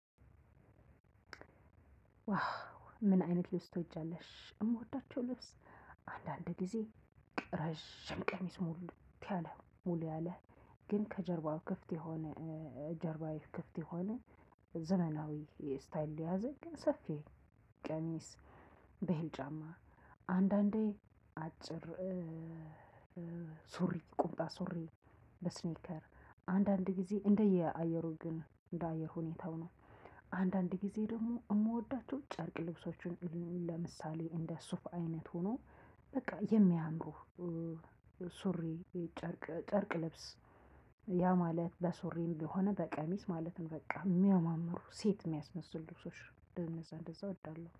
ዋው ምን አይነት ልብስ ትወጃለሽ? የምወዳቸው ልብስ አንዳንድ ጊዜ ረጅም ቀሚስ ሙልት ያለ ሙሉ ያለ ግን ከጀርባው ክፍት የሆነ ጀርባዊ ክፍት የሆነ ዘመናዊ ስታይል ሊያዘግ ሰፊ ቀሚስ ጫማ አንዳንዴ አጭር ሱሪ ቁምጣ ሱሪ በስኒከር አንዳንድ ጊዜ እንደየአየሩ ግን እንደአየር ሁኔታው ነው። አንዳንድ ጊዜ ደግሞ የምወዳቸው ጨርቅ ልብሶችን ለምሳሌ እንደ ሱፍ አይነት ሆኖ በቃ የሚያምሩህ። ሱሪ ጨርቅ ጨርቅ ልብስ ያ ማለት ለሱሪም የሆነ በቀሚስ ማለትም በቃ የሚያማምሩ ሴት የሚያስመስሉ ልብሶች እንደዛ እንደዛ እወዳለሁ